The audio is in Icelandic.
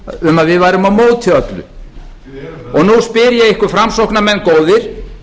um að við værum á móti öllu og nú spyr ég ykkur framsóknarmenn góðir